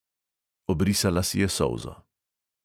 Obrisala si je solzo.